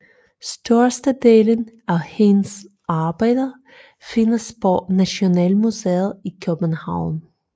Størstedelen af hans arbejder findes på Nationalmuseet i København